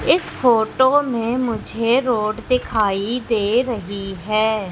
इस फोटो में मुझे रोड दिखाई दे रही है।